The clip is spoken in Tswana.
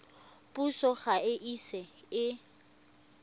puso ga e ise e